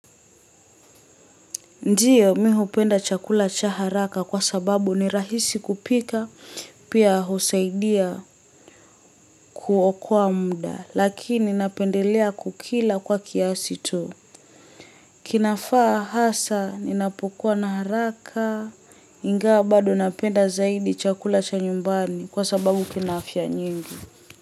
Ndiyo mimi hupenda chakula cha haraka sababu ni rahisi kupika pia husaidia kuokoa mda lakini napendelea kukila kwa kiasi tu. Kinafaa hasa ninapokua na haraka ingawa bado napenda zaidi chakula cha nyumbani kwa sababu kina afya nyingi.